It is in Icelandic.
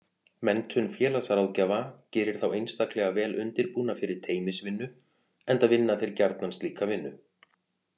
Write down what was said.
Menntun félagsráðgjafa gerir þá einstaklega vel undirbúna fyrir teymisvinnu enda vinna þeir gjarnan slíka vinnu.